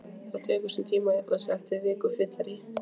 Það tekur sinn tíma að jafna sig eftir viku fyllerí